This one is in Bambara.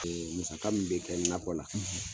Ɛɛ musaga min bɛ kɛ nakɔ la.